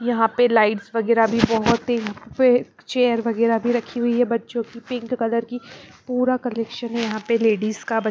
यहाँ पे लाइट्स वगैरह भी बहुत है य चेयर वगैरह भी रखी हुई है बच्चों की पिंक कलर की पूरा कलेक्शन है यहाँ पे लेडीज का बच--